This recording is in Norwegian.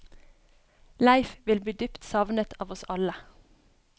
Leif vil bli dypt savnet av oss alle.